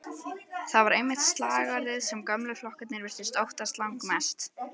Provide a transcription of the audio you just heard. Það var einmitt slagorðið sem gömlu flokkarnir virtust óttast langmest.